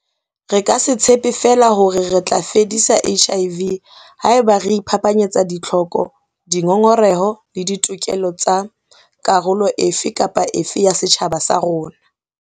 Re ka se tshepe feela hore re tla fedisa HIV haeba re iphapanyetsa ditlhoko, dingongoreho le ditokelo tsa karolo e fe kapa e fe ya setjhaba sa rona.